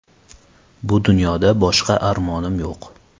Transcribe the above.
Bu dunyoda boshqa armonim yo‘q.